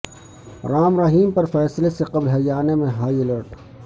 رام رحیم پر فیصلے سے قبل ہریانہ میں ہائی الرٹ